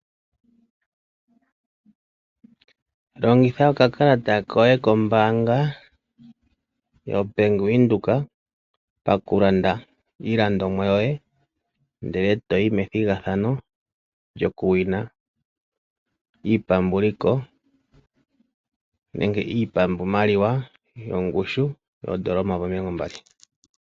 Longitha okakalata koyo kombaanga yoBank Windhoek, pakulanda iilandomwa yoye ndele to yi methigathano lyokusindana iipambuliko nenge iipambumaliwa yongushu yoodola omayovi omilongo mbali.